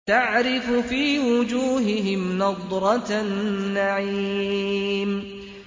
تَعْرِفُ فِي وُجُوهِهِمْ نَضْرَةَ النَّعِيمِ